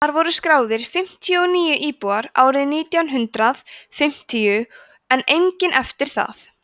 þar voru skráðir fimmtíu og níu íbúar árið nítján hundrað fimmtíu en enginn eftir það